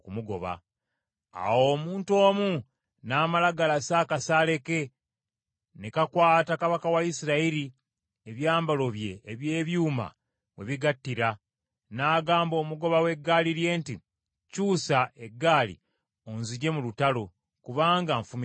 Awo omuntu omu n’amala galasa akasaale ke, ne kakwata kabaka wa Isirayiri ebyambalo bye eby’ebyuma we bigattira, n’agamba omugoba w’eggaali lye nti, “Kyusa eggaali onzigye mu lutalo, kubanga nfumitiddwa.”